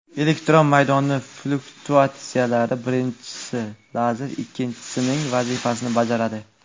Elektr maydoni fluktuatsiyalari birinchisini, lazer esa ikkinchisining vazifasini bajaradi.